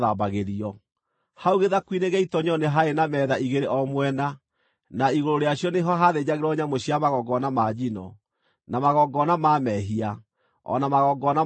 Hau gĩthaku-inĩ gĩa itoonyero nĩ haarĩ metha igĩrĩ o mwena, na igũrũ rĩacio nĩho haathĩnjagĩrwo nyamũ cia magongona ma njino, na magongona ma mehia, o na magongona ma mahĩtia.